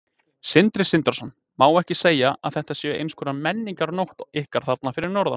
Sindri Sindrason: Má ekki segja að þetta sé eins konar menningarnótt ykkar þarna fyrir norðan?